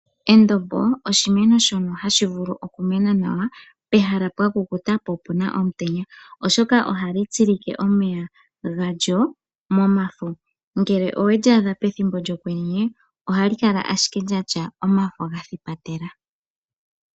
Endombo oshimeno shono hashi vulu oku mena nawa pehala pwa kukuta po opuna omutenya. Oshoka ohali tsilike omeya galyo momafo. Ngele oweli adha pethimbo lyokwenye ohali kala ashike lya tya omafo gathipatela.